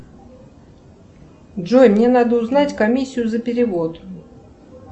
джой мне надо узнать комиссию за перевод